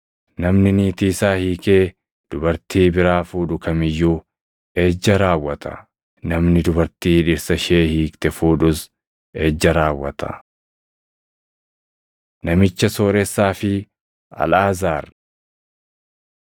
“Namni niitii isaa hiikee dubartii biraa fuudhu kam iyyuu ejja raawwata; namni dubartii dhirsa ishee hiikte fuudhus ejja raawwata. Namicha Sooressaa fi Alʼaazaar